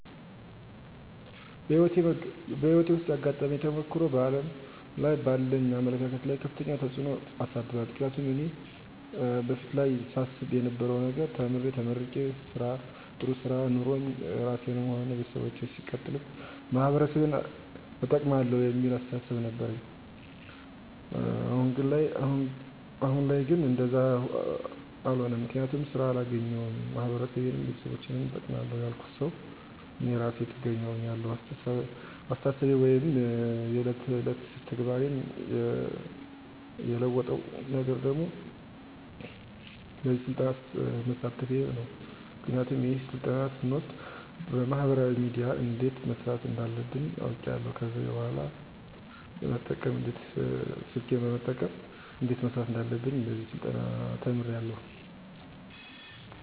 በህይወቴ ዉስጥ ያጋጠመኝ ተሞክሮ በዓለም ላይ ባለኝ አመለካከት ላይ ከፍተኛ ተጽዕኖ አሳድሯል ምክንያቱም እኔ በፊት ላይ ሳስብ የነበረዉ ነገር ተምሬ ተመርቄ ጥሩ ስራ ኖሮኝ ራሴንም ሆነ ቤተሰቦቸን ሲቀጥልም ማህበረሰቤን እጠቅማለዉ የሚል አስተሳሰብ ነበረኝ አሁን ላይ ግን እንደዛ አሎነም ምክንያቱም ስራ አላገኘዉም ማህበረሰቤንም ቤተሰቦቸንም እጠቅማለዉ ያልኩት ሰዉ እኔ እራሴ ጥገኛ ሁኛለዉ አስተሳሰቤን ወይም የዕለት ተዕለት ተግባሬን የለወጠዉ ነገር ደግሞ በዚህ ስልጠና መሳተፌ ነዉ ምክንያቱም ይሄን ስልጠና ስወስድ በማህበራዊ ሚድያ እንዴት መስራት እንዳለብኝ አዉቄያለዉ ከዚህ በኅላ ስልኬን በመጠቀም እንዴት መስራት እንዳለብኝ በዚህ ስልጠና ተምሬያለዉ